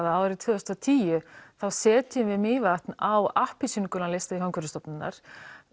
að árið tvö þúsund og tíu þá setjum við Mývatn á appelsínugula lista Umhverfisstofnunar